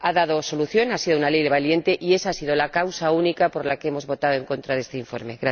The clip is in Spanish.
Ha dado una solución, ha sido una ley valiente y esa ha sido la causa única por la que hemos votado en contra de este informe.